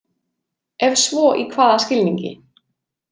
Ef svo í hvaða skilningi?